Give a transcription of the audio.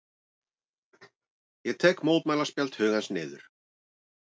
Ég tek mótmælaspjald hugans niður.